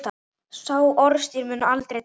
Sá orðstír mun aldrei deyja.